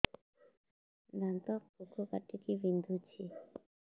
ଦାନ୍ତ ପୋକ କାଟିକି ବିନ୍ଧୁଛି